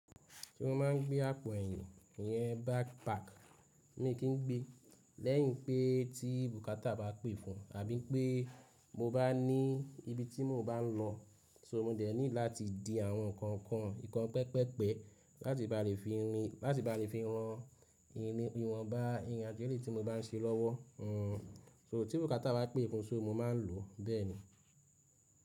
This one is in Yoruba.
Ṣé mo máa ń gbé àpò ẹ̀yìn, ìyẹn backpack mi kí n gbé. Lẹ́yìn pé tí bùkátà bá pè fún, àbí pé mo bá ní ibi tí mo báa ń lọ, so mo dẹ̀ need láti di àwọn nǹkan kan ìkan pẹpẹ́pẹ láti bá rí fi rìn, láti bá rí fi ran irin ìwọ̀nbá ìrìn àjò eléyìí tí mo bá ń ṣe lọ́wọ́. Hmm, so tí bùkátà bá pè fún, só mo máa ń lò bẹ́ẹ̀ ni.